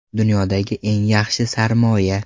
Dunyodagi eng yaxshi sarmoya .